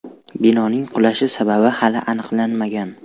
Binoning qulashi sababi hali aniqlanmagan.